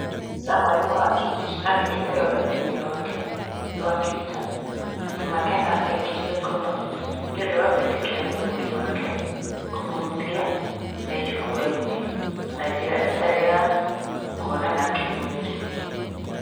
Samuel Mwangi andĩkĩte rũrenda-inĩ rwake rwa Twitter atĩ Makena aikirio ngono nĩũndũ wa gwĩtĩkĩria mũgũri wake kũmũhutia me njukua-inĩ na njĩra ĩtarĩ ya kũonana kĩ mwĩrĩ.